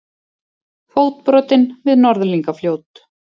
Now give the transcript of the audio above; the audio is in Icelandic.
Fótbrotinn við Norðlingafljót